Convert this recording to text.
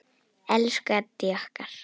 Elsku Addý okkar.